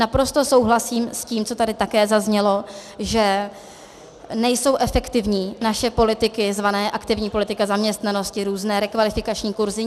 Naprosto souhlasím s tím, co tady také zaznělo, že nejsou efektivní naše politiky zvané aktivní politika zaměstnanosti, různé rekvalifikační kurzy.